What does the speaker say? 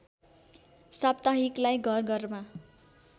साप्ताहिकलाई घर घरमा